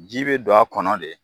Ji bɛ don a kɔnɔ de.